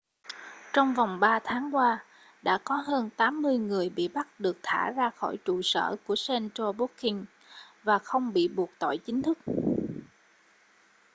trong vòng 3 tháng qua đã có hơn 80 người bị bắt được thả ra khỏi trụ sở của central booking và không bị buộc tội chính thức